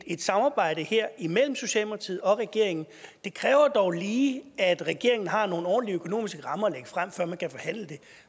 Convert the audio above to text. et samarbejde her imellem socialdemokratiet og regeringen det kræver dog lige at regeringen har nogle ordentlige økonomiske rammer at frem før man kan forhandle det